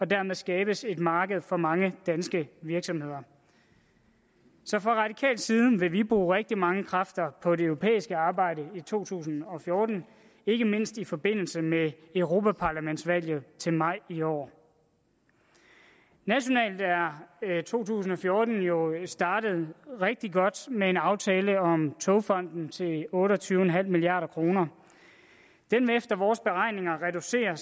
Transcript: dermed skabes et marked for mange danske virksomheder så fra radikal side vil vi bruge rigtig mange kræfter på det europæiske arbejde i to tusind og fjorten ikke mindst i forbindelse med europaparlamentsvalget til maj i år nationalt er to tusind og fjorten jo startet rigtig godt med en aftale om togfonden til otte og tyve en halv milliard kroner den vil efter vores beregninger reducere